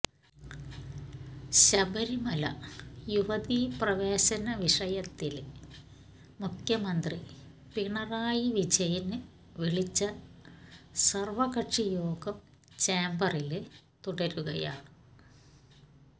ശബരിമല യുവതീ പ്രവേശന വിഷയത്തില് മുഖ്യമന്ത്രി പിണറായി വിജയന് വിളിച്ച സര്വകക്ഷിയോഗം ചേംബറില് തുടരുകയാണ്